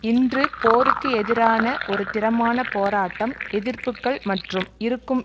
இன்று போருக்கு எதிரான ஒரு திறமான போராட்டம் எதிர்ப்புக்கள் மற்றும் இருக்கும்